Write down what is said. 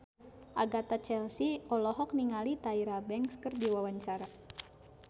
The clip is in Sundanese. Agatha Chelsea olohok ningali Tyra Banks keur diwawancara